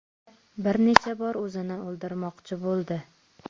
Bir necha bor o‘zini o‘ldirmoqchi bo‘ldi.